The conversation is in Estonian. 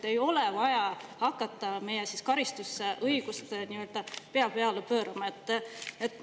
Ei ole vaja hakata meie karistusõigust pea peale pöörama!